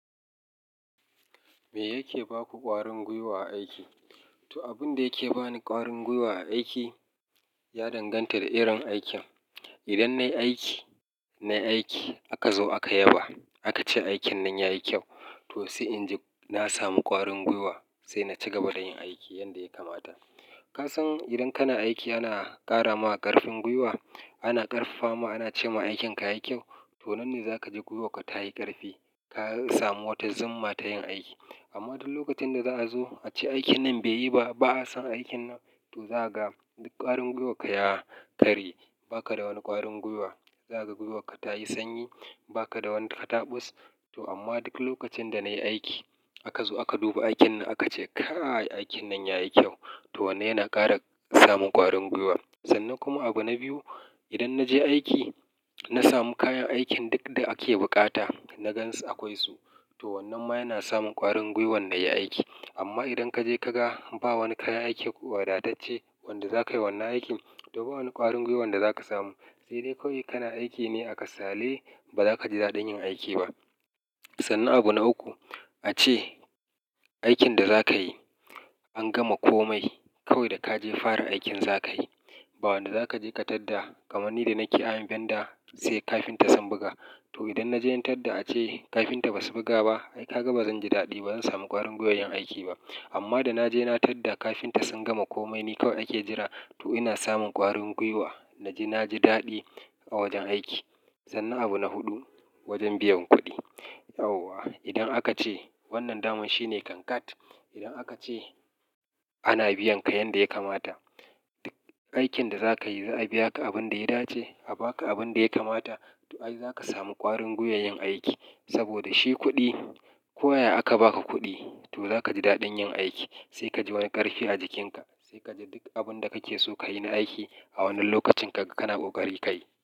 Me yake ba ku ƙwarin gwiwa a aiki? To, abin da yake ba ni ƙwarin gwiwa a aiki ya danganta da irin aikin. Idan nayi aiki, nayi aiki aka zo aka yaba, aka ce aikin nan yayi kyau, to sai in ji na samu ƙwarin gwiwa sai na ci gaba da yin aiki yanda ya kamata. Ka san idan kana aiki ana ƙara ma ƙarfin gwiwa, ana ƙarfafa mu ana ce ma aikin ka yayi kyau, to wannan za ka ji gwiwarka ta yi ƙarfi, ka samu wata zumma ta yin aiki. Amma duk lokacin da za a zo a ce aikin nan bai yi ba, ba a san aikin nan, to za ga duk ƙwarin gwiwarka ya karye, ba ka da wani ƙwarin gwiwa. Za ka ga gwiwarka ta yi sanyi, ba ka da wani kataɓus. To amma duk lokacin da nayi aiki aka zo aka duba aikin na aka ce, "kai aikin nan yayi kyau", to wannan yana ƙara samun ƙwarin gwiwa. Sannan kuma abu na biyu, idan na je aiki na samu kayan aikin duk da ake buƙata na gansu akwai su, to wannan ma yana sabmun ƙwarin gwiwan nayi aiki. Amma idan ka je ka ga ba wani kayan aiki wadatacce wanda za ka yi wannan aikin, to ba wani ƙwarin gwiwa da za ka samu, sai dai kawai kana aiki ne a kasale ba za ka ji daɗin yin aiki ba. Sannan abu na uku, a ce aikin da za ka yi an gama komai kawai da ka je fara aikin za ka yi ba wanda za ka je ka tadda. Kamar ni da nake ayan vendor sai kafinta sun buga. To idan na je na tadda a ce kafinta ba su buga ba, ai ka ga bazan ji daɗi ba, bazan samu ƙwarin gwiwar yin aiki ba. Amma da na je na tadda kafinta sun gama komai, ni kawai ake jira, to ina samun ƙwarin gwiwa. Naji-naji daɗi a wajen aiki. Sannan abu na huɗu, wajen biyan kuɗi. Idan aka ce wannan daman shine kankat, idan aka ce ana biyan ka yanda ya kamata, aikin da za ka yi za a biya ka abin da ya dace, a ba ka abin da ya kamata, to ai za ka samu ƙwarin gwiwar yin aiki. Saboda shi kuɗi, koyaya aka ba ka kuɗi, to za ka ji daɗin yin aiki sai ka ji wani ƙarfi a jikinka sai ka ji duk abin da kake so ka yi na aiki a wannan lokacin ka, kana kokari ka yi.